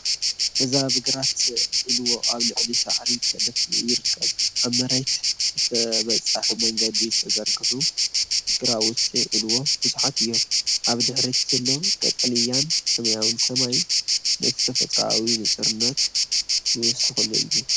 እዚ ኣብ ማእኸል ግራት ዒልዎ ኣብ ልዕሊ ሳዕሪ ተደፊኡ ይርአ። ኣብ መሬት ብተበፃሒ መንገዲ ዝተዘርግሑ ግራውቲ ዒልዎ ብዙሓት እዮም፤ ኣብ ድሕሪት ዘሎ ቀጠልያን ሰማያውን ሰማይ ነቲ ተፈጥሮኣዊ ንጹርነት ይውስኸሉ እዩ።